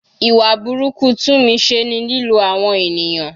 Ìwà burúkú Tunmise ni lílo àwọn ènìyàn.